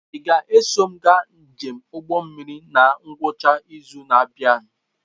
Ị ga-eso m gaa njem ụgbọ mmiri na ngwụcha izu na-abịa?